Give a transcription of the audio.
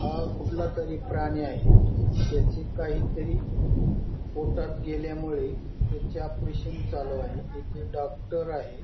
हा कुठला तरी प्राणी आहे. त्याचे काही तरी पोटात गेल्यामुळे त्याचे ऑपरेशन चालू आहे. येथे डॉक्टर आहे.